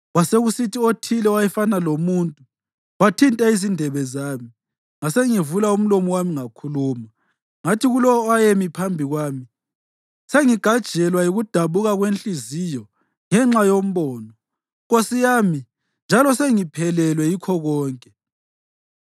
Kwasekusithi othile owayefana lomuntu wathinta izindebe zami, ngasengivula umlomo wami ngakhuluma. Ngathi kulowo owayemi phambi kwami, “Sengigajelwa yikudabuka kwenhliziyo ngenxa yombono, nkosi yami, njalo sengiphelelwe yikho konke.